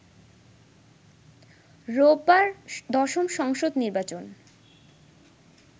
রোববার দশম সংসদ নির্বাচন